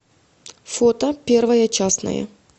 фото первая частная